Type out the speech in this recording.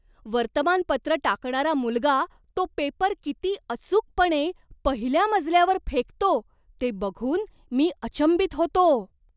वर्तमानपत्रं टाकणारा मुलगा तो पेपर किती अचूकपणे पहिल्या मजल्यावर फेकतो ते बघून मी अचंबित होतो.